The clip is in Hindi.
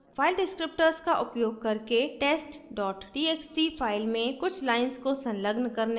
file descriptors का उपयोग करके test dot txt file में कुछ lines को संलग्न करने का प्रयास करें